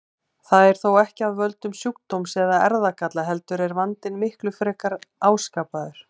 Það er þó ekki af völdum sjúkdóms eða erfðagalla heldur er vandinn miklu frekar áskapaður.